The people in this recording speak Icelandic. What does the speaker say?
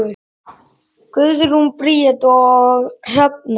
Guðrún Bríet og Hrefna.